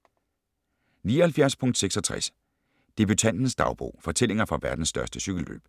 79.66 Debutantens dagbog: fortællinger fra verdens største cykelløb